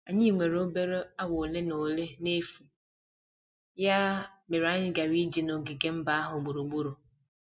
Anyị nwere obere awa ole na ole n'efu, ya mere anyị gara ije n'ogige mba ahụ gburugburu.